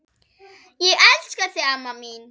Ég elska þig amma mín.